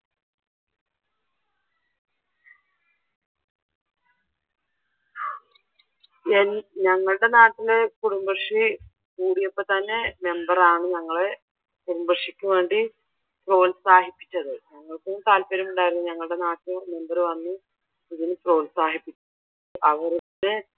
ഞങ്ങളുടെ നാട്ടിലെ കുടുംബശ്രീ കൂടിയപ്പോൾ തന്നെ മെമ്പർ ആണ് ഞങ്ങളെ കുടുംബശ്രീക്ക് വേണ്ടി പ്രോത്സാഹിപ്പിച്ചത് ഞങ്ങൾക്കും താല്പര്യം ഉണ്ടായിരുന്നു ഞങ്ങളുടെ നാട്ടിൽ മെമ്പർ വന്നു ഇതിന് പ്രോത്സാഹിപ്പിച്ചു അവരുടെ